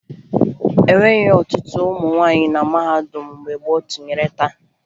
E nweghi ọtụtụ ụmụ nwaanyị na mahadum mgbe gboo tụnyere taa